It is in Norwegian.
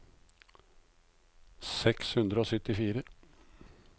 seks hundre og syttifire